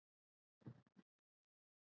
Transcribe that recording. Náttsól, bókaðu hring í golf á föstudaginn.